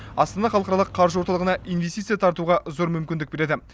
астана халықаралық қаржы орталығына инвестиция тартуға зор мүмкіндік береді